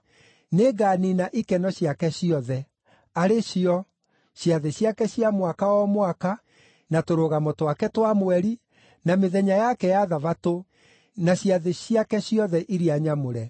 Nĩnganiina ikeno ciake ciothe, arĩ cio: ciathĩ ciake cia mwaka o mwaka, na Tũrũgamo twake twa mweri, na mĩthenya yake ya Thabatũ, na ciathĩ ciake ciothe iria nyamũre.